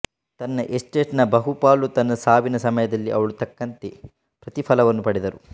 ತನ್ನ ಎಸ್ಟೇಟ್ನ ಬಹುಪಾಲು ತನ್ನ ಸಾವಿನ ಸಮಯದಲ್ಲಿ ಅವಳು ತಕ್ಕಂತೆ ಪ್ರತಿ ಫಲವನ್ನು ಪಡೆದರು